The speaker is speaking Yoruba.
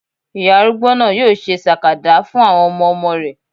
Ìyá arúgbó náà yóò ṣe sàkàdá fún àwọn ọmọmọ rẹ̀